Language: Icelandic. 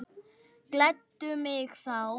Gleddu mig þá.